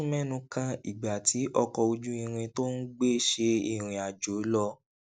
ó tún ménu kan ìgbà tí ọkọ ojú irin tó ń gbé ṣe ìrìn àjò lọ